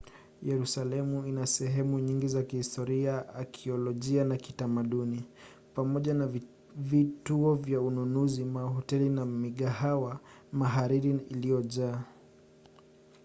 yerusalemu ina sehemu nyingi za kihistoria akiolojia na kitamaduni pamoja na vituo vya ununuzi mahoteli na migahawa mahariri na iliyojaa